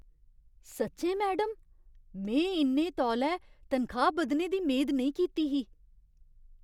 सच्चें, मैडम! में इन्ने तौले तनखाह् बधने दी मेद नेईं कीती ही!